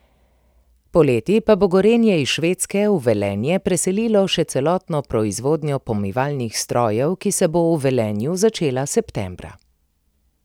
Poleti pa bo Gorenje iz Švedske v Velenje preselilo še celotno proizvodnjo pomivalnih strojev, ki se bo v Velenju začela septembra.